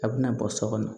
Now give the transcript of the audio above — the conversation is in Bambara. A bɛna bɔ so kɔnɔ